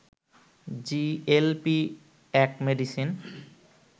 GLP-1 medicine